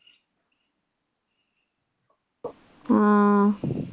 ആ